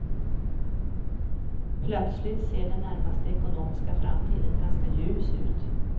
Plötsligt ser den närmaste ekonomiska framtiden ganska ljus ut.